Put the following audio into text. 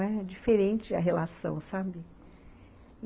É diferente a relação, sabe?